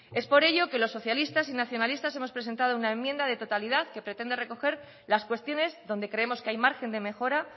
es por eso que los socialistas y nacionalistas hemos presentado una enmienda de totalidad que pretende recoger las cuestiones donde creemos que hay margen de mejora